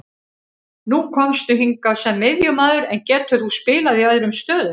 Nú komstu hingað sem miðjumaður, en getur þú spilað í öðrum stöðum?